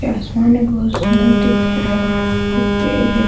ये आसमान में बहुत सुंदर दिख रहा ये पेड़ है।